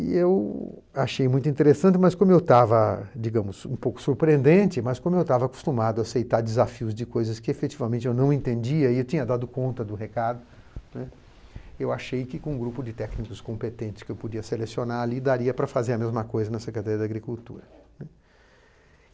E eu achei muito interessante, mas como eu estava, digamos, um pouco surpreendente, mas como eu estava acostumado a aceitar desafios de coisas que efetivamente eu não entendia e eu tinha dado conta do recado, né, eu achei que com um grupo de técnicos competentes que eu podia selecionar ali daria para fazer a mesma coisa na Secretaria da Agricultura, né.